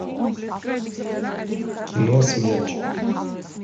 кино смерч